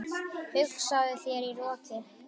Hugsaðu þér- í roki!